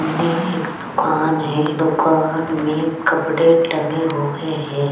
मने एक दुकान है दुकान में कपडे टंगे हुए है।